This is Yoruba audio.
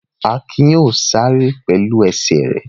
Akin yóò sáré pẹ̀lú ẹsẹ̀ rẹ̀.